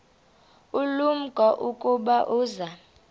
ulumko ukuba uza